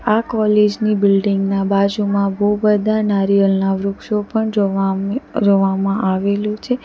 આ કોલેજ ની બિલ્ડીંગ ના બાજુમાં બઉ બધા નારિયલના વૃક્ષો પણ જોવામ જોવામાં આવેલું છે.